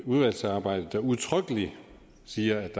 udvalgsarbejde der udtrykkeligt siger at